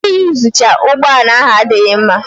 Iyuzucha ụgbọ ala ahụ adịghị mma